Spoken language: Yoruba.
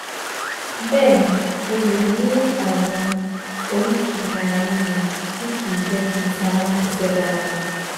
Bẹ́ẹ̀ ni, o lè ní ààrùn oríkèé-ara-ríro tí kìí jẹ́ kí iṣan ara ṣiṣẹ́ dáadáa